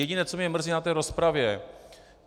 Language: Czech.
Jediné, co mě mrzí na té rozpravě.